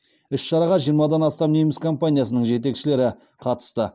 іс шараға жиырмадан астам неміс компаниясының жетекшілері қатысты